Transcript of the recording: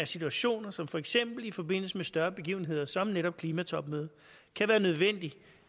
situationer som for eksempel i forbindelse med større begivenheder som netop klimatopmødet kan være nødvendigt